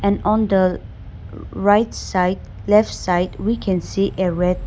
And on the um right side left side we can see a red.